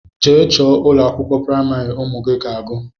Jee chọọ ụlọakwụkwọ primari ụmụ gị ga-agu!!!